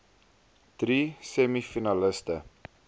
drie semi finaliste